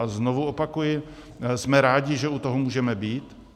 A znovu opakuji, jsme rádi, že u toho můžeme být.